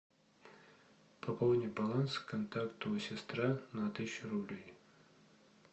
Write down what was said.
пополни баланс контакту сестра на тысячу рублей